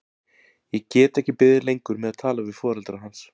Ég get ekki beðið lengur með að tala við foreldra hans.